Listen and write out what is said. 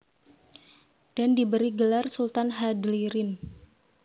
Dan diberi gelar Sultan Hadlirin